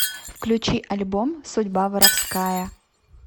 включи альбом судьба воровская